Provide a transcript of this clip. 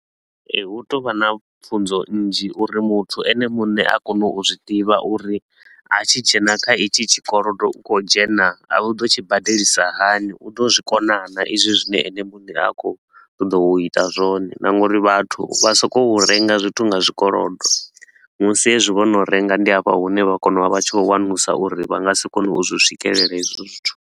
Ee, hu tea u vha na pfunzo nnzhi uri muthu ene muṋe a kone u zwi ḓivha uri a tshi dzhena kha hetshi tshikolodo, u khou dzhena a u ḓo tshi badelisa hani, u ḓo zwikona naa i zwi zwine ene mune a khou ṱoḓa u ita zwone. Na nga uri vhathu vha so ko u renga zwithu nga zwikolodo, musi hezwi vho no renga ndi hafha hune vha kona u vha vha tshi khou wanulusa uri vha nga si kone u zwi swikelela hezwo zwithu.